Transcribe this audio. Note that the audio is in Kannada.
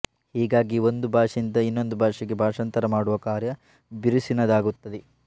ಹೀಗಾಗಿ ಒಂದು ಭಾಷೆಯಿಂದ ಇನ್ನೊಂದು ಭಾಷೆಗೆ ಭಾಷಾಂತರ ಮಾಡುವ ಕಾರ್ಯ ಬಿರುಸಿನದಾಗುತ್ತದೆ